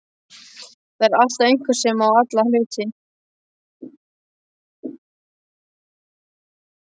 Það er alltaf einhver sem á alla hluti.